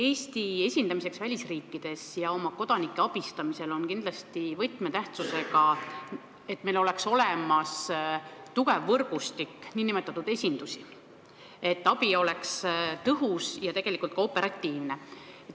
Eesti esindamisel välisriikides ja oma kodanike abistamisel on kindlasti võtmetähtsusega, et meil oleks olemas tugev võrgustik nn esindusi, selleks et abi oleks tõhus ja ka operatiivne.